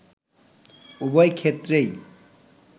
উভয় ক্ষেত্রেই